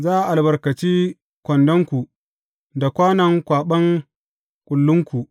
Za a albarkaci kwandonku da kwanon kwaɓan kullunku.